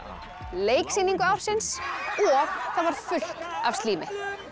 leiksýningu ársins og það var fullt af slími